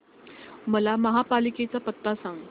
मला महापालिकेचा पत्ता सांग